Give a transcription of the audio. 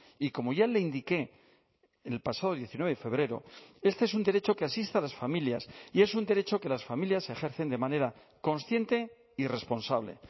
y como ya le indiqué en el pasado diecinueve de febrero este es un derecho que asiste a las familias y es un derecho que las familias ejercen de manera consciente y responsable